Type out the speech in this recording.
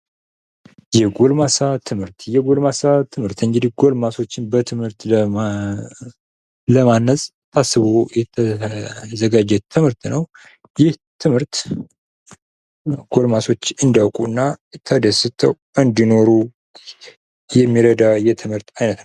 የጎልማሳ ትምህርት እንግዲህ ጎልማሶችን በትምህርት ለማነጽ ታስቦ የተዘጋጀ ትምህርት ነው ።ይህ ትምህርት ጎልማሶች እንዲያውቁ እና ተደስተው እንዲኖሩ የሚረዳ የትምህርት ዓይነት ነው።